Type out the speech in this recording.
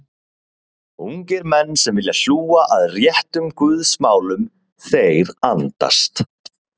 Ungir menn sem vilja hlúa að réttum Guðs málum, þeir andast.